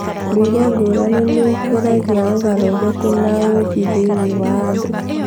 Ndũire ngũrani nĩ ikũragia ũgarũrũku na ũũmbi thĩinĩ wa andũ.